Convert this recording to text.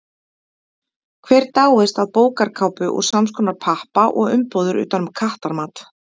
Hver dáist að bókarkápu úr samskonar pappa og umbúðir utan um kattamat?